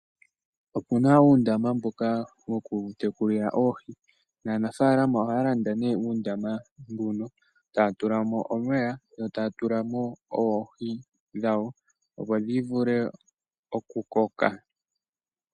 Opu na uundama mboka woku tekulila oohi. Naanafaalama ohaya landa uundama mbuka, etaya tula mo omeya, etaya tula mo oohi dhawo opo dhi vule oku koka.